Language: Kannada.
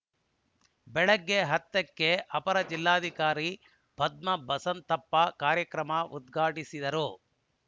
ಬೆಳಗ್ಗೆ ಹತ್ತಕ್ಕೆ ಅಪರ ಜಿಲ್ಲಾಧಿಕಾರಿ ಪದ್ಮ ಬಸವಂತಪ್ಪ ಕಾರ್ಯಕ್ರಮ ಉದ್ಘಾಟಿಸುವರು